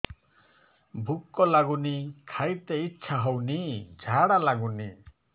ଭୁକ ଲାଗୁନି ଖାଇତେ ଇଛା ହଉନି ଝାଡ଼ା ଲାଗୁନି